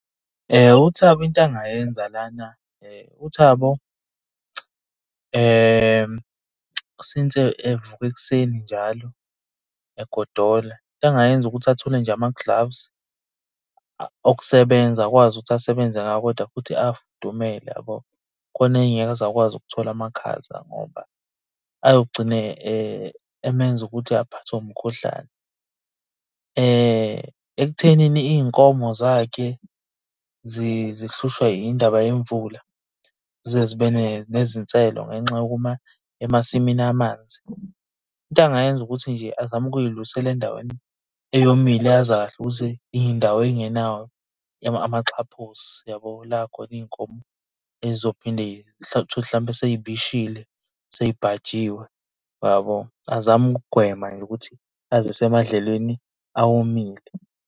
UThabo into angayenza lana uThabo since evuka ekuseni njalo egodola. Into angayenza ukuthi athole nje ama-gloves okusebenza akwazi ukuthi asebenze ngawo kodwa futhi afudumele yabo. Khona engeke aze akwazi ukuthola amakhaza ngoba ayogcine emenza ukuthi aphathwe umkhuhlane. Ekuthenini iy'nkomo zakhe zihlushwe indaba yemvula zize zibe nezinselo ngenxa yokuma emasimini amanzi. Into angayenza ukuthi nje azame ukuyilusela endaweni eyomile azi kahle ukuthi iy'ndawo ey'ngenawo amaxhaphosi yabo. La khona iy'nkomo ey'zophinde uthole ukuthi hlampe sey'bishile, sey'bhanjiwe yabo. Azame ukugwema nje ukuthi azise emadlelweni awomile.